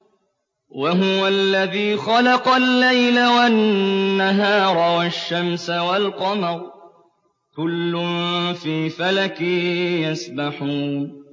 وَهُوَ الَّذِي خَلَقَ اللَّيْلَ وَالنَّهَارَ وَالشَّمْسَ وَالْقَمَرَ ۖ كُلٌّ فِي فَلَكٍ يَسْبَحُونَ